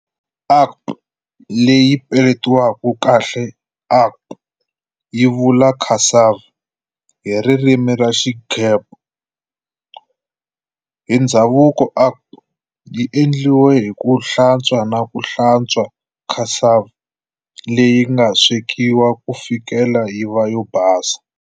Akpu, leyi peletiwaka kahle akpù, yi vula cassava hi ririmi ra Xiigbo. Hi ndzhavuko, Akpu yi endliwa hiku hlantswa naku hlantswa cassava leyinga swekiwa kufikela yiva yo basa.